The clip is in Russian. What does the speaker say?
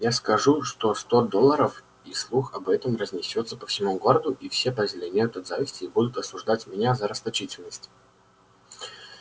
я скажу что сто долларов и слух об этом разнесётся по всему городу и все позеленеют от зависти и будут осуждать меня за расточительность